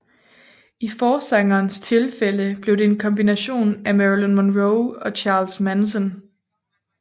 I forsangerens tilfælde blev det en kombination af Marilyn Monroe og Charles Manson